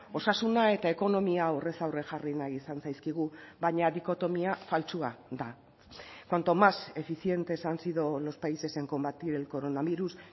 osasuna eta ekonomia aurrez aurre jarri nahi izan zaizkigu baina dikotomia faltsua da cuanto más eficientes han sido los países en combatir el coronavirus